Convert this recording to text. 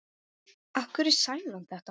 Af hverju sagði hann þetta?